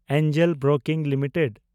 angel broking limited